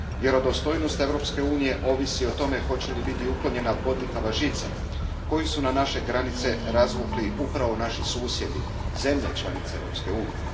Vjerodostojnost Europske unije ovisi i o tome hoće li biti uklonjena bodljikava žica koju su na naše granice razvukli upravo naši susjedi zemlje članice Europske unije.